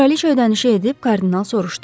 Kraliça ödənişi edib, kardinal soruşdu.